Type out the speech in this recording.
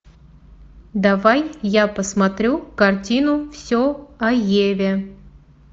давай я посмотрю картину все о еве